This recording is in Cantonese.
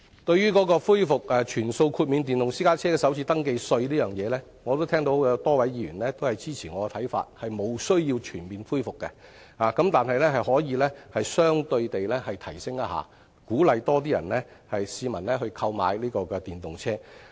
對於恢復全數豁免電動私家車首次登記稅方面，我也聽到有多位議員支持我的看法，即是沒有需要全面恢復的，但是可以相對地提升優惠，以鼓勵更多市民購買電動車。